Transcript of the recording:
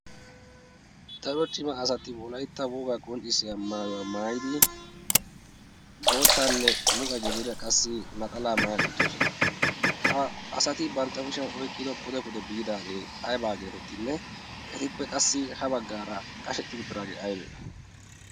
dare cima asati wolaitta wogaa qonccissiya maayuwaa maayidi boottaanne muqe gidiira qassi naxalaa maaya uttidosona ha asati bantta kushiyan oiqqido pude pude biidaagee aibaa geetettinne etippe qassi ha baggaara qashetti uttidaagee aybee